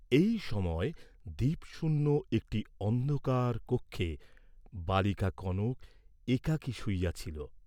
এই সময় দীপশূন্য একটি অন্ধকার কক্ষে, বালিকা কনক একাকী শুইয়াছিল।